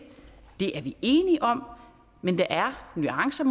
er vi enige om men der er nuancer